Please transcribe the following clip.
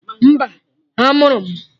Mba, a mụrụ